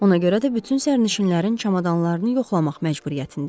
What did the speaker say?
Ona görə də bütün sərnişinlərin çamadanlarını yoxlamaq məcburiyyətindəyik.